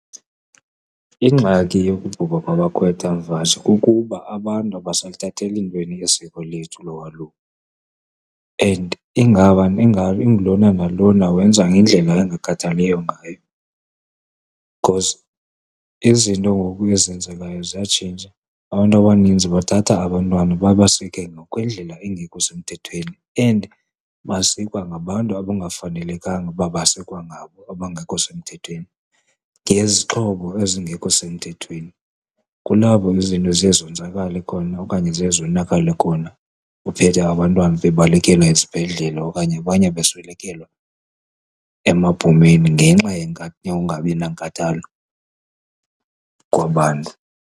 Ingxaki yokubhubha kwabakhwetha mvanje kukuba abantu abaseluthatheli ntweni isiko lethu lolwaluko and ingulona nalona wenza ngendlela engakhathaliyo ngayo because izinto ngoku ezenzekayo ziyatshintsha. Abantu abaninzi bathatha abantwana babasike ngokwendlela engekho semthethweni, and basikwa ngabantu abangafanelekanga ukuba basikwa ngabo abangekho semthethweni ngezixhobo ezingekho semthethweni. Kulapho ke izinto ziye zonzakale khona okanye ziye zonakale khona uphethe abantwana bebalekela ezibhedlele okanye abanye beswelekela emabhomeni ngenxa yokungabi nankathalo kwabantu.